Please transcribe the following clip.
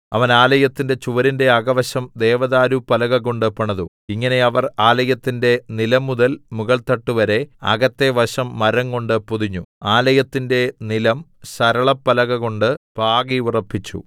അവൻ ആലയത്തിന്റെ ചുവരിന്റെ അകവശം ദേവദാരുപ്പലകകൊണ്ട് പണിതു ഇങ്ങനെ അവർ ആലയത്തിന്റെ നിലംമുതൽ മുകൾത്തട്ട് വരെ അകത്തെ വശം മരംകൊണ്ട് പൊതിഞ്ഞു ആലയത്തിന്റെ നിലം സരളപ്പലകകൊണ്ട് പാകിയുറപ്പിച്ചു